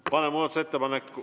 Aitäh!